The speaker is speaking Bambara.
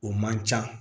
O man ca